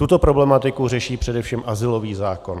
Tuto problematiku řeší především azylový zákon.